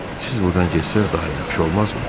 Siz burdan getsəz daha yaxşı olmazmı?